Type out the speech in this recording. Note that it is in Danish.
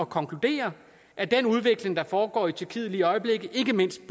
konkludere at den udvikling der foregår i tyrkiet lige i øjeblikket ikke mindst i